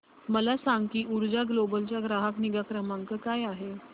मला सांग की ऊर्जा ग्लोबल चा ग्राहक निगा क्रमांक काय आहे